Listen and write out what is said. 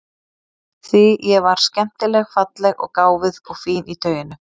Því ég var skemmtileg falleg og gáfuð og fín í tauinu.